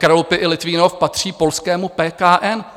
Kralupy i Litvínov patří polskému PKN.